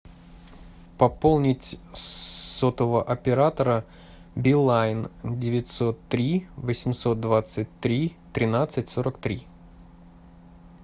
пополнить сотового оператора билайн девятьсот три восемьсот двадцать три тринадцать сорок три